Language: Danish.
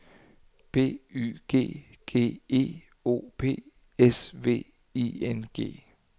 B Y G G E O P S V I N G